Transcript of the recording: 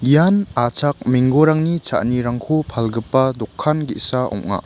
ian achak menggorangni cha·anirangko palgipa dokan ge·sa ong·a.